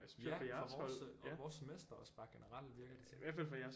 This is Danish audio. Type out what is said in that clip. Ja fra vores og vores semester også bare generelt virker det til